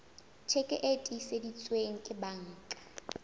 tjheke e tiiseditsweng ke banka